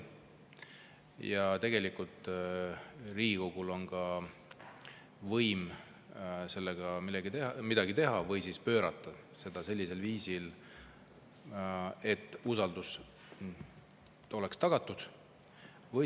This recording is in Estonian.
Ja tegelikult on just Riigikogul võim sellega midagi teha, pöörata seda sellisel viisil, et usaldus oleks tagatud.